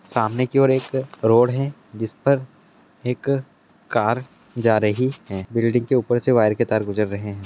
सामने की ओर एक रोड है जिस पर एक कार जा रही है बिल्डिंग के ऊपर से वायर के तार गुजर रहे है ।